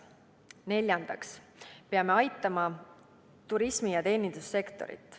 Neljandaks, me peame aitama turismi- ja teenindussektorit.